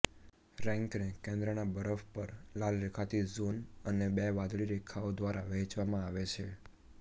રેંકને કેન્દ્રના બરફ પર લાલ રેખાથી ઝોન અને બે વાદળી રેખાઓ દ્વારા વહેંચવામાં આવે છે